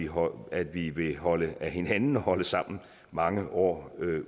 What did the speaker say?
håber at vi vil holde af hinanden og holde sammen mange år